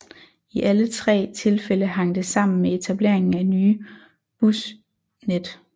I alle tre tilfælde hang det sammen med etableringen af nye bybusnet